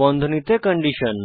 বন্ধনীতে কন্ডিশন